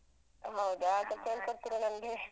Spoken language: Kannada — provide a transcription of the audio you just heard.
ಹೌದಾ ಸ್ವಲ್ಪ ಹೇಳ್ಕೊಡ್ತಿರಾ ನಂಗೆ